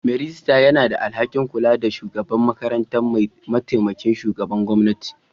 Mai rejista yana da alhakin kula da shugaban makarantar; mataimakin shugaban gwamnati.